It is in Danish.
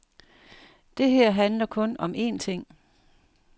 Det her handler kun om en ting.